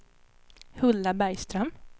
Hulda Bergström